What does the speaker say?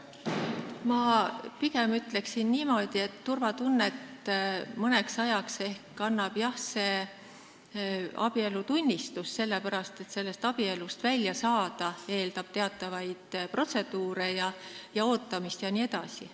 Ma ütleksin pigem niimoodi, et abielutunnistus mõneks ajaks turvatunnet ehk annab, jah, sest abielust väljasaamine eeldab teatavaid protseduure, ootamist jne.